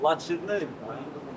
Laçındandı.